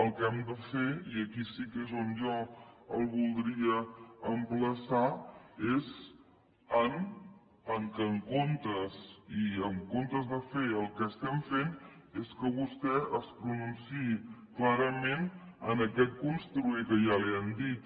el que hem de fer i aquí sí que és on jo el voldria emplaçar és que en comptes de fer el que estem fent vostè es pronunciï clarament en aquest construir que ja li han dit